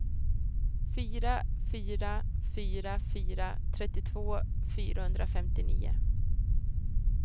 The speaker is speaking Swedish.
fyra fyra fyra fyra trettiotvå fyrahundrafemtionio